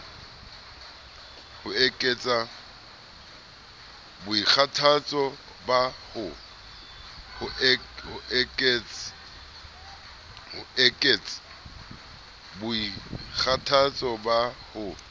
ho ekets boikgathatso ba ho